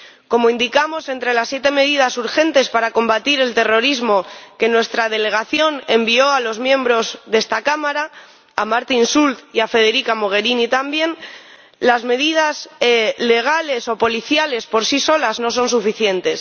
Como indicamos entre las siete medidas urgentes para combatir el terrorismo que mi delegación envió a los miembros de esta Cámara, a Martin Schulz y a Federica Mogherini también, las medidas legales o policiales por sí solas no son suficientes.